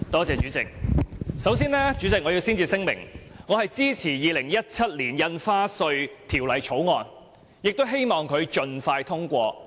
主席，我首先要聲明，我支持《2017年印花稅條例草案》，希望《條例草案》盡快獲得通過。